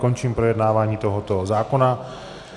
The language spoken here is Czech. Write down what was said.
Končím projednávání tohoto zákona -